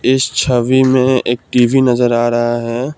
इस छवि में एक टी_वी नजर आ रहा है।